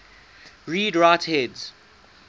read write heads